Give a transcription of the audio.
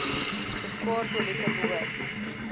bespaar toilette behoort